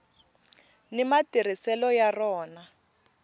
ni matirhiselo ya rona